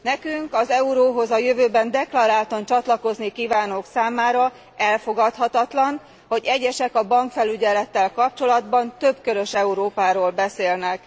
Nekünk, az euróhoz a jövőben deklaráltan csatlakozni kívánók számára elfogadhatatlan, hogy egyesek a bankfelügyelettel kapcsolatban többkörös Európáról beszélnek.